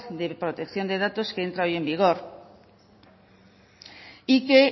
de protección de datos que entra hoy en vigor y que